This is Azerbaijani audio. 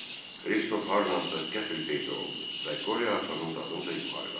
Kristof hardansa qəfil peyda oldu və Qoryo atanın dalınca yuxarı qalxdı.